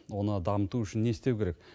оны дамыту үшін не істеу керек